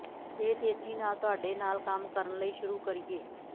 ਦੇ ਤੇਜ਼ੀ ਨਾਲ ਤੁਹਾਡੇ ਨਾਲ ਕੰਮ ਕਰਨ ਲਈ ਸ਼ੁਰੂ ਕਰੀਏ